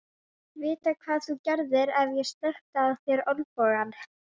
Vita hvað þú gerðir ef ég sleikti á þér olnbogann.